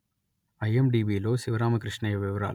ఐ_ఎం_డి_బిలో శివరామకృష్ణయ్య వివరాలు